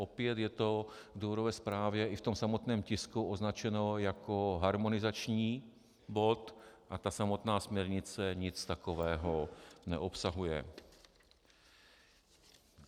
Opět je to v důvodové zprávě i v tom samotném tisku označeno jako harmonizační bod a ta samotná směrnice nic takového neobsahuje.